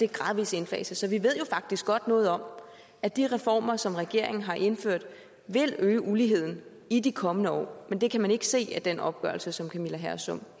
gradvis indfases så vi ved jo faktisk godt noget om at de reformer som regeringen har indført vil øge uligheden i de kommende år men det kan man ikke se af den opgørelse som camilla hersom